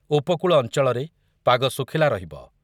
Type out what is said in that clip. ଉପକୂଳ ଅଞ୍ଚଳରେ ପାଗ ଶୁଖିଲା ରହିବ ।